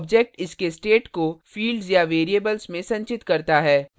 object इसके state को fields या variables में संचित करता है